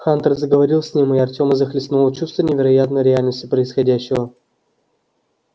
хантер заговорил с ним и артема захлестнуло чувство невероятной реальности происходящего